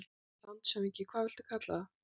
LANDSHÖFÐINGI: Hvað viltu kalla það?